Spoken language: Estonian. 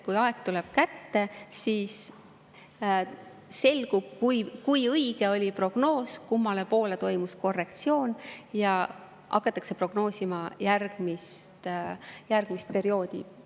Kui aeg tuleb kätte, siis selgub, kui õige oli prognoos, kummale poole toimus korrektsioon, ja hakatakse prognoosima järgmist perioodi.